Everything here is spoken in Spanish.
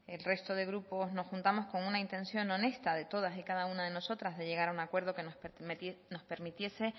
el resto de grupos nos juntamos con una intención honesta de todas y cada una de nosotras de llegar a un acuerdo que nos permitiese